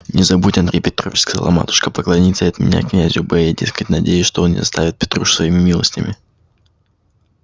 не забудь андрей петрович сказала матушка поклониться и от меня князю б я дескать надеюсь что он не оставит петрушу своими милостями